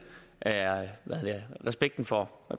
respekten for